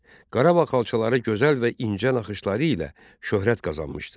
Qarabağ xalçaları gözəl və incə naxışları ilə şöhrət qazanmışdı.